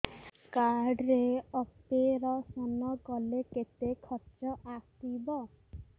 card ରେ operation କଲେ କେତେ ଖର୍ଚ ଆସିବ